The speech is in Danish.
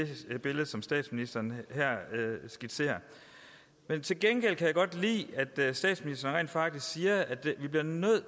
som statsministeren her skitserer til gengæld kan jeg godt lide at statsministeren rent faktisk siger at vi bliver nødt